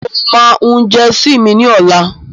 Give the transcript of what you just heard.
Mo ma hun jẹsì mi ní ọ̀lá.